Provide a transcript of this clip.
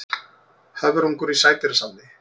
Höfrungur í sædýrasafni.